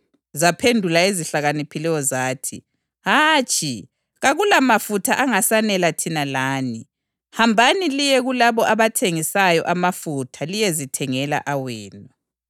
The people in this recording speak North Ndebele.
Zaphendula ezihlakaniphileyo zathi, ‘Hatshi, kakulamafutha angasanela thina lani. Hambani liye kulabo abathengisa amafutha liyezithengela awenu.’